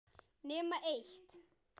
Nema eitt.